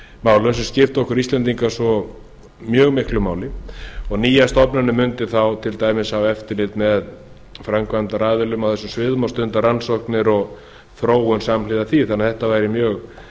málum sem skipta okkur íslendinga mjög miklu máli nýja stofnunin mundi þá til dæmis hafa eftirlit með framkvæmdaraðilum á þessum sviðum og stunda rannsóknir og þróun samhliða því þetta væri því mjög